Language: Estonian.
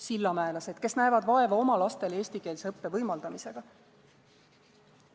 Sillamäelased, kes näevad vaeva oma lastele eestikeelse õppe võimaldamisega.